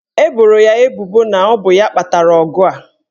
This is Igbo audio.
Eboro ya ebubo na ọ bụ ya kpatara ọgụ a.